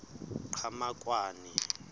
qhamakwane